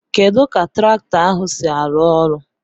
Kedu ka traktọ ahu si arụ ọrụ?